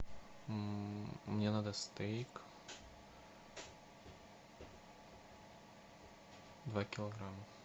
мне надо стейк два килограмма